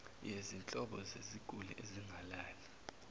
yezinhlobo zeziguli ezingalali